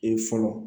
Ee fɔlɔ